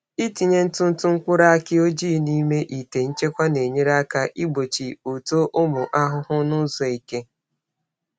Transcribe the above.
Ịtinye ntụ ntụ mkpụrụ aki ọjị n’ime ite nchekwa na-enyere aka igbochi uto ụmụ ahụhụ n’ụzọ eke.